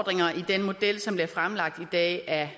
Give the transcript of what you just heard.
der er som blev fremlagt i dag af